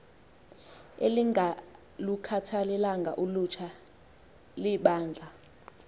elingalukhathalelanga ulutsha libandla